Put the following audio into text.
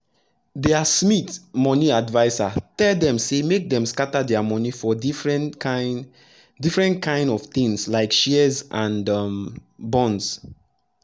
dia smith moni adviser tell dem say make dem scatter dia moni for different kain different kain of tins like shares and um bonds